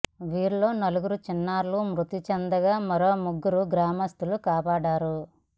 వీరిలో నలుగురు చిన్నారులు మృతి చెందగా మరో ముగ్గురిని గ్రామస్తులు కాపాడారు